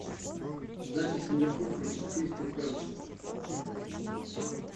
запись ливерпуль против кристал пэласа